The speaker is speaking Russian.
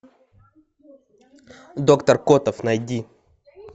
доктор котов найди